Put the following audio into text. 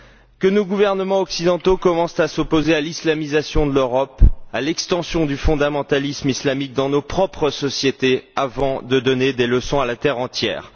Que nos gouvernements occidentaux commencent à s'opposer à l'islamisation de l'Europe et à l'extension du fondamentalisme islamique dans nos propres sociétés avant de donner des leçons à la terre entière!